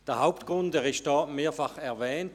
Der Hauptgrund wurde mehrmals genannt.